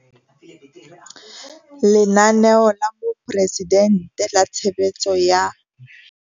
Lenaneo la Moporesidente la Tshebeletso ya.